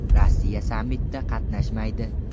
Rossiya sammitda qatnashmaydi.